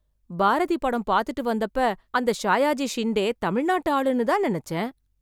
பாரதி படம் பாத்துட்டு வந்தப்ப அந்த ஷாயாஜி ஷிண்டே தமிழ் நாட்டு ஆளுன்னு தான் நினச்சேன்.